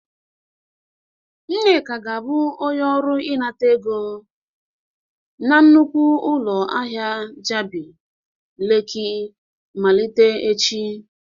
Nneka ga-abụ onye ọrụ inata ego na nnukwu ụlọ ahịa Jabị leki malite echi.